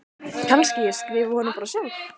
Kannski ég skrifi honum bara sjálf.